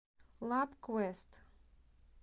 лабквэст